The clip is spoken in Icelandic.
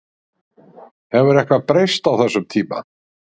Hefur eitthvað breyst á þessum tíma?